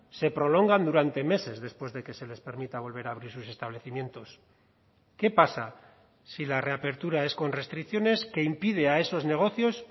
se prolongan durante meses después de que se les permita volver a abrir sus establecimientos qué pasa si la reapertura es con restricciones que impide a esos negocios